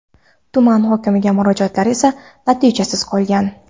Tuman hokimiga murojaatlar esa natijasiz qolgan.